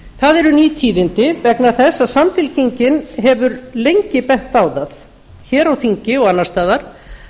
það eru ný tíðindi vegna þess að samfylkingin hefur lengi bent á það hér á þingi og annars staðar